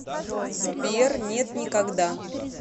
сбер нет никогда